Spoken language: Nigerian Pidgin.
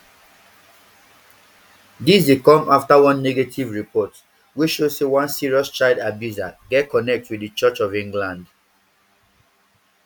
dis dey come afta one negative report wey show say one serious child abuser get connect wit di church of england